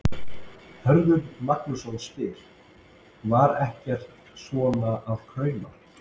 Hörður Magnússon spyr: Var ekkert svona að krauma?